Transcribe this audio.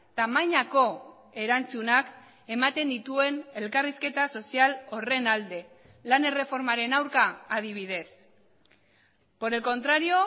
tamainako erantzunak ematen dituen elkarrizketa sozial horren alde lan erreformaren aurka adibidez por el contrario